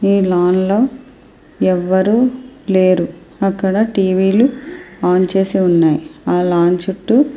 ఈ లోన్లో ఎవరూ లేరు. అక్కడ టీవీలు ఆన్ చేసి ఉన్నాయి. లాన్ చుట్టు --